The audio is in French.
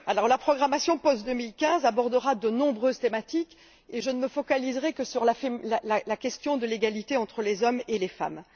La programmation post 2015 abordera de nombreuses thématiques, et je ne me focaliserai que sur la question de l'égalité entre les hommes et les femmes.